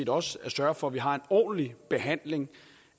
også at sørge for at vi har en ordentlig behandling